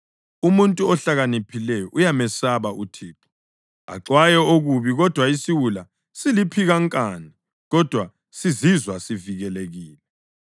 Umuntu ohlakaniphileyo uyamesaba uThixo, axwaye okubi, kodwa isiwula siliphikankani kodwa sizizwa sivikelekile.